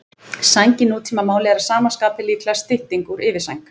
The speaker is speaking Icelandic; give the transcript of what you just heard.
Sæng í nútímamáli er að sama skapi líklega stytting úr yfirsæng.